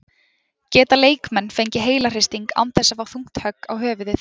Geta leikmenn fengið heilahristing án þess að fá þungt högg á höfuðið?